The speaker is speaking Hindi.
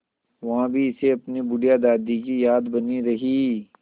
वहाँ भी इसे अपनी बुढ़िया दादी की याद बनी रही